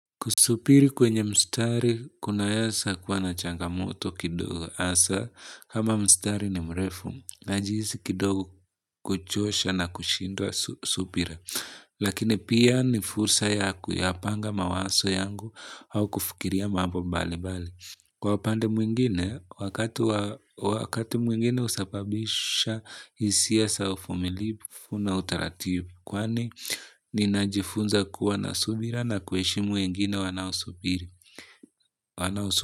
Kusubiri kwenye mstari kunaweza kuwa na changamoto kidogo asa, kama mstari ni mrefu, najihisi kidogo kuchosha na kushindwa subira. Lakini pia ni fursa ya kuyapanga mawazo yangu au kufikiria mambo mbali mbali. Kwa upande mwingine, wakati mwingine usababisha hisia za uvumilivu na utaratibu. Kwani, ninajifunza kuwa na subira na kuheshimu wengine wanaosubiri.